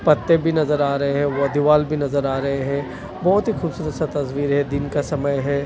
पत्ते भी नजर आ रहे हैं वो दीवाल भी नजर आ रहे हैं बहुत ही खूबसूरत सा तस्वीर है दिन का समय है।